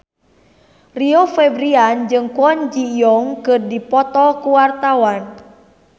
Rio Febrian jeung Kwon Ji Yong keur dipoto ku wartawan